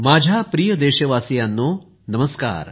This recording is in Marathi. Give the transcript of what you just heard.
माझ्या प्रिय देशवासियांनो नमस्कार